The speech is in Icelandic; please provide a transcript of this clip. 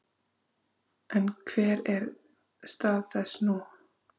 En hver er stað þess nú?